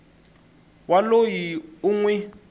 wa loyi u n wi